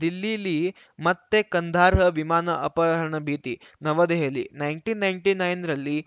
ದಿಲ್ಲೀಲಿ ಮತ್ತೆ ಕಂದಹಾರ್‌ ವಿಮಾನ ಅಪಹರಣ ಭೀತಿ New Delhi nineteen ninety nine ರಲ್ಲಿ